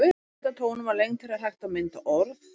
Með því að breyta tónum og lengd þeirra er hægt að mynda orð.